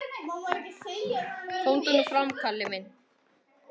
Komdu nú fram, Kalli minn!